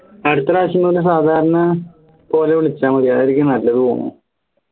അടുത്ത പ്രാവശ്യം സാധാരണ പോലെ വിളിച്ചാൽ മതി അതായിരിക്കും നല്ല തോന്നുണു